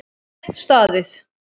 Slétt staðið.